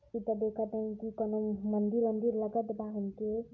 इत देखत हई की कउनौ मंदिर वांदिर लगत बा हमके।